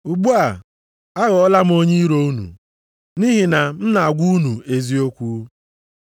Ugbu a, aghọọla m onye iro unu, nʼihi na m na-agwa unu eziokwu?